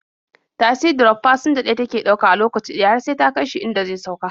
Tasi drof fasinja ɗaya take ɗauka a lokaci ɗaya har sai ta kai shi inda zai sauka.